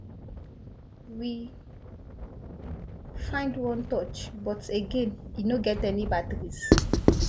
we find one torch but again e no get any batteries